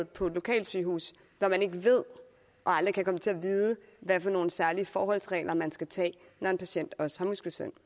på et lokalsygehus hvor man ikke ved og aldrig kan komme til at vide hvad for nogle særlige forholdsregler man skal tage når en patient også har muskelsvind